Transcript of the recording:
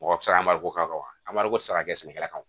Mɔgɔ tɛ se ka an mariko k'a kan an mariko tɛ se ka kɛ sɛnɛkɛlaw kan